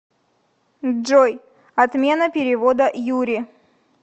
джой отмена перевода юре